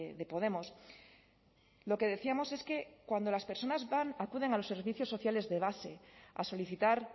de podemos lo que decíamos es que cuando las personas van acuden a los servicios sociales de base a solicitar